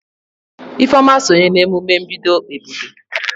Ifeoma sonye na emume mbido obodo.